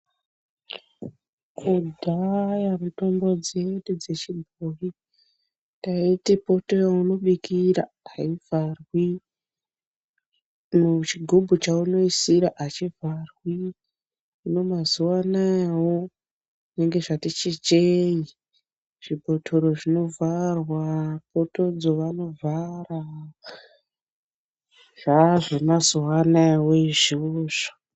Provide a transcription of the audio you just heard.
Kudhaya mitombo dzedu dzechibhoyi taiti poto yeunobikira aivharwi ,chigubhu chaunoisira achivharwi, hino mazuwa anayewo zvinonge zvati chicheyi zvibhotoro zvinovharwa ,potodzo vanovhara zvaazvemazuwa anaya woizvi.